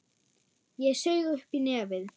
Ég saug upp í nefið.